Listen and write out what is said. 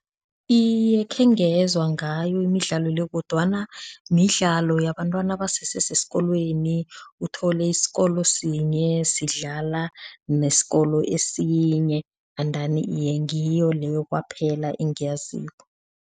Iye, khengezwa ngayo imidlalo le kodwana midlalo yabantwana basese sesikolweni uthole isikolo sinye sidlala nesikolo esinye endani iye ngiyo leyo kwaphela engiyaziko.